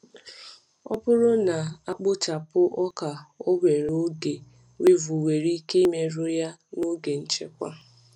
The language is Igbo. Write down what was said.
Ọ bụrụ na a kpochapụ ọka owere oge, weevil nwere ike imerụ ya n’oge nchekwa.